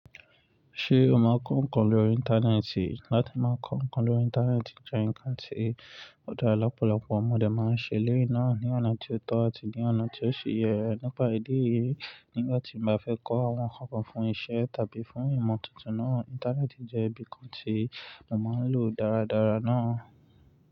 Ṣé o máa kọ ǹkan lórí Íńtánẹ́ẹ̀tì? Láti máa kọ ǹkan lórí Íńtánẹ́ẹ̀tì jẹ́ ǹkan tí ọ̀pọ̀lọpọ̀ ọmọdé máa ń ṣe lénáà ní ọ̀nà tí ó tọ̀ àti ní ọ̀nà tí ó ṣe yẹ. Nípa ìdí èyí, nígbà tí mo fẹ́ kọ àwọn kànkàn fún iṣẹ́ tàbí fún ìmọ̀ tuntun náà, Íńtánẹ́ẹ̀tì jẹ́ ibi kan tí mo máa ń lò dáradára náà.